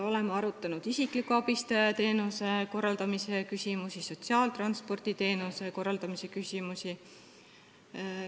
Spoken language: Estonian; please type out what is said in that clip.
Oleme arutanud isikliku abistaja teenuse ning sotsiaaltransporditeenuse korraldamise küsimusi.